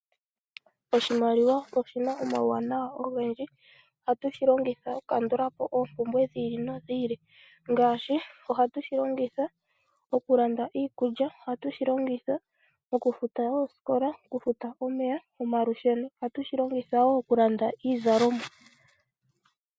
Oshimaliwa oshina omauwanawa ogendji. Ohashi longithwa okukandulapo oompumbwe dhi ili nodhi ili, ngaashi okulanda iikulya, okufuta oosikola, omalusheno, omeya, noshowo okulanda iizalomwa.